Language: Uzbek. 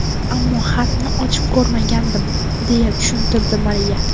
Ammo xatni ochib ko‘rmagandim”, – deya tushuntirdi Mariya.